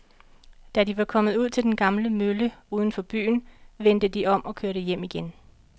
Da de var kommet ud til den gamle mølle uden for byen, vendte de om og kørte hjem igen.